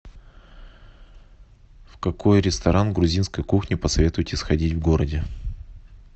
в какой ресторан грузинской кухни посоветуете сходить в городе